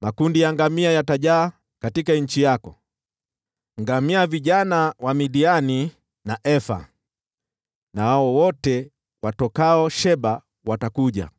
Makundi ya ngamia yatajaa katika nchi yako, ngamia vijana wa Midiani na Efa. Nao wote watokao Sheba watakuja,